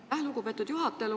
Aitäh, lugupeetud juhataja!